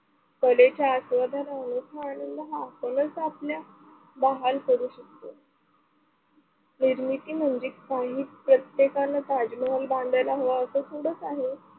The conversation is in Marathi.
कलेच्या आस्वादाने मोठा आनंद हा कलेचा आपला बहाल करू शकतो. निर्मिती म्हणजे काही प्रत्येकानं ताजमहाल बांधायला हवा असे थोडचं आहे.